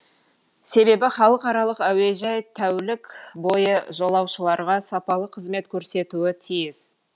себебі халықаралық әуежай тәулік бойы жолаушыларға сапалы қызмет көрсетуі тиіс